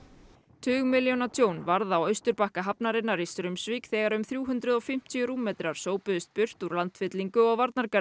tugmilljóna tjón varð á Austurbakka hafnarinnar í Straumsvík þegar um þrjú hundruð og fimmtíu rúmmetrar burt úr landfyllingu og